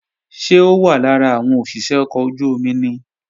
Ṣé ó wà lára àwọn òṣìṣé ọkọ̀ ojú-omi ni?